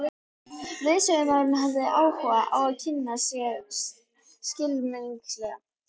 Leiðsögumaðurinn hafði áhuga á að kynna sér skylmingar.